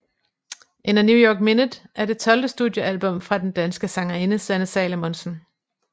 In a New York Minute er det tolvte studiealbum fra den danske sangerinde Sanne Salomonsen